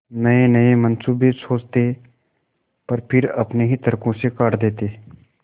नयेनये मनसूबे सोचते पर फिर अपने ही तर्को से काट देते